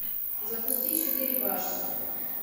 запусти четыре башни